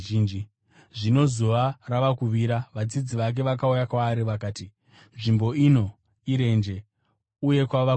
Zvino zuva rava kuvira, vadzidzi vake vakauya kwaari, vakati, “Nzvimbo ino irenje, uye kwava kudoka.